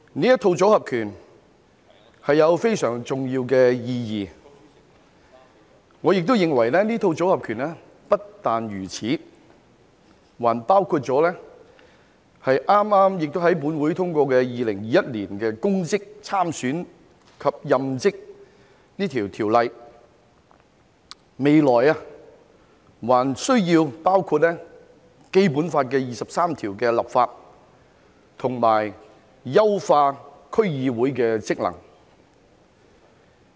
這套"組合拳"有非常重要的意義，而我認為這套"組合拳"不僅如此，還包括了剛剛在本會通過的《2021年公職條例草案》，未來還需要包括就《基本法》第二十三條立法和優化區議會的職能。